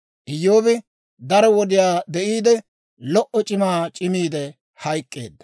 Iyyoobi daro wodiyaa de'iide, lo"o c'imaa c'imiide hayk'k'eedda.